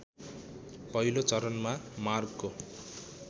पहिलो चरणमा मार्गको